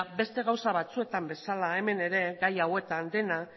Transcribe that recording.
beste gauza batzuetan bezala hemen ere gai hauetan gaia